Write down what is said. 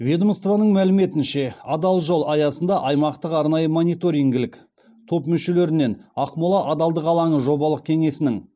ведомствоның мәліметінше адал жол аясында аймақтық арнайы мониторингілік топ мүшелерінен ақмола адалдық алаңы жобалық кеңесінің